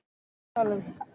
Hvað erum við að tala um?